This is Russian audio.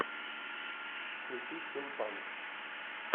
включи стимпанк